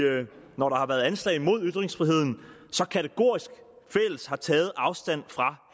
når der har været anslag imod ytringsfriheden så kategorisk fælles har taget afstand fra